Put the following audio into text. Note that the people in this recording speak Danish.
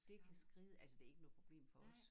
Det kan skriDe altså det ikke noget problem for os